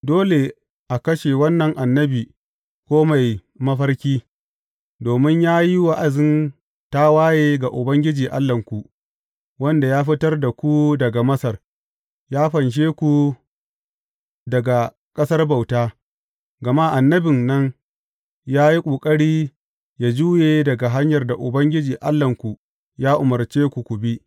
Dole a kashe wannan annabi ko mai mafarki, domin ya yi wa’azin tawaye ga Ubangiji Allahnku, wanda ya fitar da ku daga Masar, ya fanshe ku daga ƙasar bauta; gama annabin nan ya yi ƙoƙari yă juye daga hanyar da Ubangiji Allahnku ya umarce ku, ku bi.